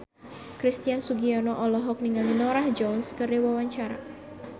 Christian Sugiono olohok ningali Norah Jones keur diwawancara